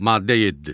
Maddə 7.